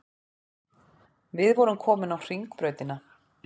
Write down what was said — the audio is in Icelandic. Við vorum komin á Hringbrautina.